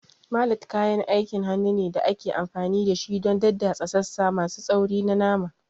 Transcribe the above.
Mallet kayan aikin hannu ne da ake amfani da shi don daddatsa sassa masu tsauri na nama.